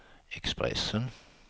Expressen